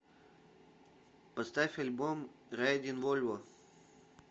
поставь альбом райдин вольво